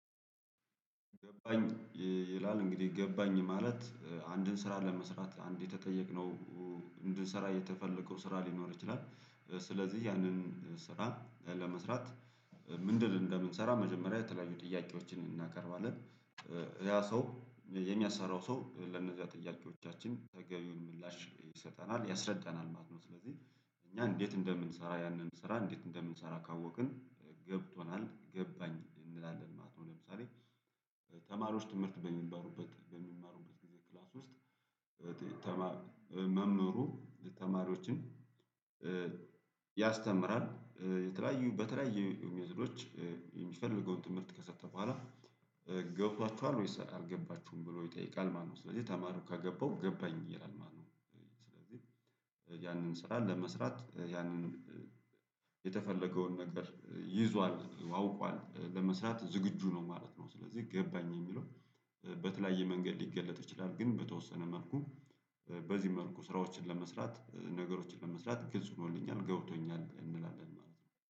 ገባኝ ይላል እንግዲህ ገባኝ ማለት አንድን ስራ ለመስራት አንድ የተጠየቅነው እንድንሰራ የተፈለገው ስራ ሊኖር ይችላል። ስለዚህ ያንን ስራ ለመስራት ምንድን እንደምንሰራ መጀመሪያ የተለያዩ ጥያቄዎችን እናቀርባለን። ያ ሰው የሚያሰራው ሰው ለነዚያ ጥያቄዎቻችን ተገቢውን ምላሽ ይሰጠናል ያስረዳናል ማለት ነው። ስለዚህ እኛ እንዴት እንደምንሰራ ያንን ስራ እንዴት እንደምንሰራ ካወቅን ገብቶናል ገባኝ እንላለን ማለት ነው። ለምሳሌ ትምህርት በሚማሩበት በሚማሩበት ጊዜ ክላስ ውስጥ ተማ መምህሩ ተማሪዎችን ያስተምራል የተለያዩ በተለያዩ ሜትዶች የሚፈልገውን ትምህርት ከሰጠ በኋላ ገብቶችኋል ወይስ አልገባችሁም ብሎ ይጠይቃል ማለት ነው? ስለዚህ ተማረው ከገባው ገባኝ ይላል ማለት ነው። ስለዚህ ያንን ስራ ለመስራት ያንን የተፈለገውን ነገር ይዟል አውቋል ለመስራት ዝግጁ ነው ማለት ነው። ስለዚህ ገባኝ የሚለው በተለያየ መንገድ ሊገለጥ ይችላል ግን በተወሰነ መልኩ በዚህ መልኩ ስራዎችን ለመስራት ነገሮችን ለመስራት ግልጽ ሆኖልኛል ገብቶኛል እንላለን ማለት ነው